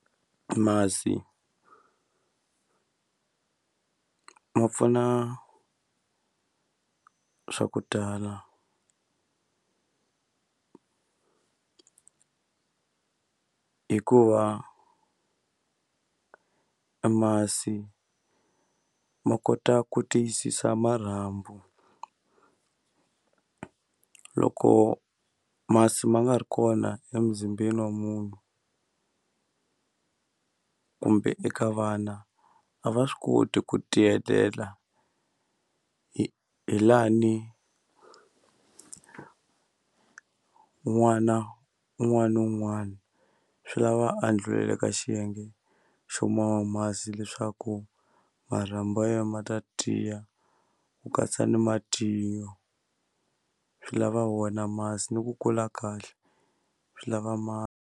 Masi ma pfuna swa ku tala hikuva masi ma kota ku tiyisisa marhambu loko masi ma nga ri kona emuzimbeni wa munhu kumbe eka vana a va swi koti ku tiyelela hi hi lani n'wana un'wana na un'wana swi lava a ndlhula eka xiyenge xo mama masi leswaku marhambu ya yena ma ta tiya ku katsa ni matinyo swi lava wona masi ni ku kula kahle swi lava ma.